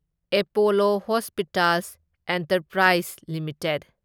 Apollo hospitals enterprise limited